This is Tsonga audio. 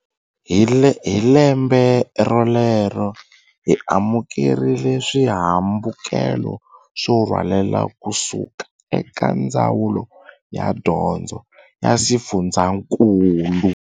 Hi lembe rolero, hi amukerile swihambukelo swo rhwaleka ku suka eka Ndzawulo ya Dyondzo ya xifundzankulu.